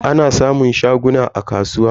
Ana samun shaguna a kasuwa.